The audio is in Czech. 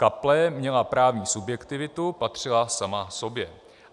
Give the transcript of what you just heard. Kaple měla právní subjektivitu, patřila sama sobě.